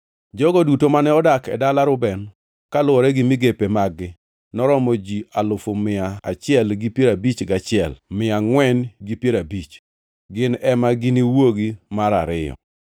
Jogo duto mane odak e dala Reuben, kaluwore gi migepe mag-gi, noromo ji alufu mia achiel gi piero abich gachiel, mia angʼwen gi piero abich (151,450). Gin ema giniwuogi mar ariyo.